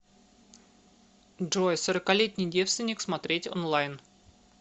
джой сороколетний девственник смотреть онлайн